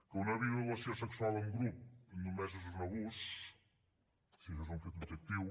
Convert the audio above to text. que una violació sexual en grup només és un abús si això és un fet objectiu